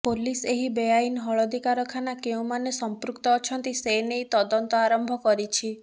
police ଏହି ବେଆଇନ ହଳଦୀ କାରଖାନା କେଉଁମାନେ ସମ୍ପୃକ୍ତ ଅଛନ୍ତି ସେନେଇ ତଦନ୍ତ ଆରମ୍ଭ କରିଛି